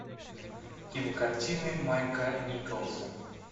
кинокартины майка николса